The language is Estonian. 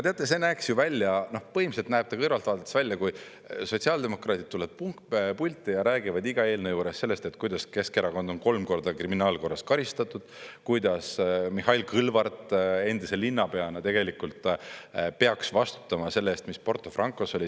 Teate, see näeks ju välja, põhimõtteliselt näeb ta kõrvalt vaadates välja, kui sotsiaaldemokraadid tulevad pulti ja räägivad iga eelnõu juures sellest, kuidas Keskerakond on kolm korda kriminaalkorras karistatud, kuidas Mihhail Kõlvart endise linnapeana peaks vastutama selle eest, mis Porto Francos oli.